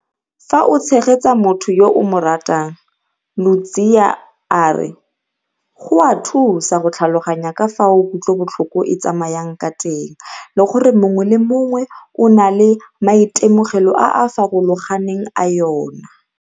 Fa o tshegetsa motho yo o mo ratang, Ludziya a re go a thusa go tlhaloganya ka fao kutlobotlhoko e tsamayang ka teng le gore mongwe le mongwe o na le maitemogelo a a farologaneng a yona.